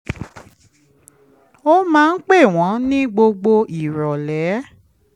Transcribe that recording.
ó máa ń pè wọ́n ní gbogbo ìrọ̀lẹ́